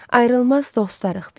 Ayrılmaz dostlarıq biz.